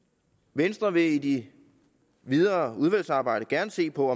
venstre vil i det videre udvalgsarbejde gerne se på